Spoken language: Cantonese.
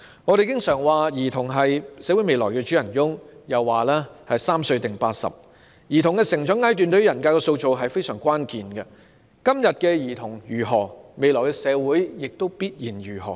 我們經常說兒童是社會未來的主人翁，又說"三歲定八十"，兒童的成長階段對於人格的塑造非常關鍵，今天的兒童如何，未來社會也必然如何。